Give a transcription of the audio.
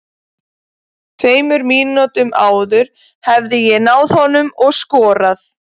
Tveimur mínútum áður hefði ég náð honum og skorað.